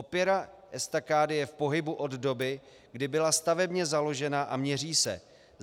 Opěra estakády je v pohybu od doby, kdy byla stavebně založena a měří se.